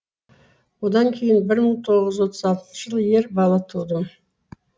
одан кейін бір мың тоғыз жүз отыз алтыншы жылы ер бала тудым